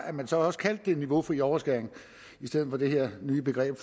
at man så også kaldte det niveaufri overskæring i stedet for det her nye begreb